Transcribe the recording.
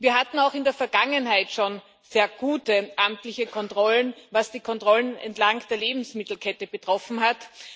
Wir hatten auch in der Vergangenheit schon sehr gute amtliche Kontrollen, was die Kontrollen entlang der Lebensmittelkette betroffen hat.